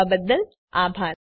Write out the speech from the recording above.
જોડાવા બદ્દલ આભાર